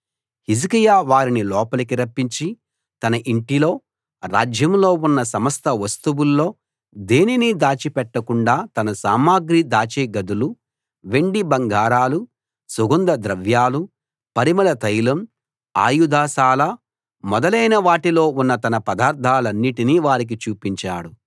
హిజ్కియా వారిని లోపలికి రప్పించి తన ఇంటిలో రాజ్యంలో ఉన్న సమస్త వస్తువుల్లో దేనిని దాచిపెట్టకుండా తన సామగ్రి దాచే గదులు వెండి బంగారాలు సుగంధద్రవ్యాలు పరిమళ తైలం ఆయుధశాల మొదలైన వాటిలో ఉన్న తన పదార్థాలన్నిటినీ వారికి చూపించాడు